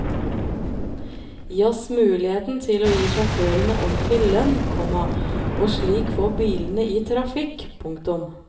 Gi oss muligheten til å gi sjåførene ordentlig lønn, komma og slik få bilene i trafikk. punktum